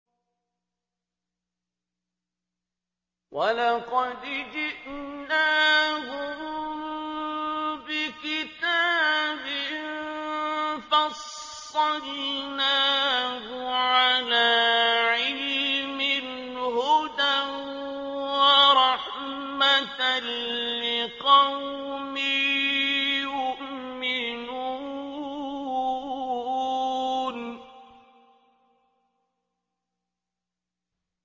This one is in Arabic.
وَلَقَدْ جِئْنَاهُم بِكِتَابٍ فَصَّلْنَاهُ عَلَىٰ عِلْمٍ هُدًى وَرَحْمَةً لِّقَوْمٍ يُؤْمِنُونَ